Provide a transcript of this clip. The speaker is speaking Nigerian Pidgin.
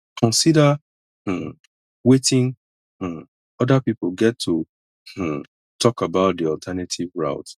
consider um weting um oda pipo get to um talk about di alternative route